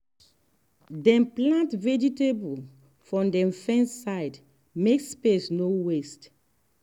dem plant vegetable for dem fence side make space no waste.